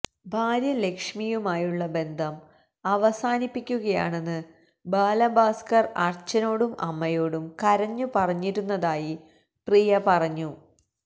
ഭാര്യ ലക്ഷ്മിയുമായുള്ള ബന്ധം അവസാനിപ്പിക്കുകയാണെന്ന് ബാലഭാസ്കര് അച്ഛനോടും അമ്മയോടും കരഞ്ഞുപറഞ്ഞിരുന്നതായി പ്രിയ പറഞ്ഞു